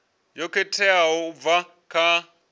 yo khetheaho u bva kha